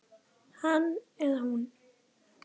Hann eða hún